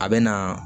A bɛ na